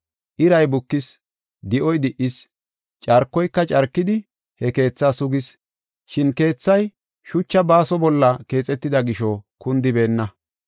Iray bukis, di7oy di77is, carkoyka carkidi he keethaa sugis. Shin keethay shucha baaso bolla keexetida gisho kundibeenna.